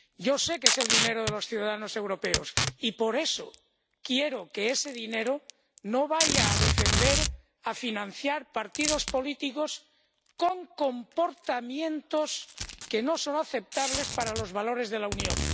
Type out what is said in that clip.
Yo sé que es el dinero de los ciudadanos europeos y, por eso, quiero que ese dinero no vaya a defender, a financiar partidos políticos con comportamientos que no son aceptables para los valores de la Unión.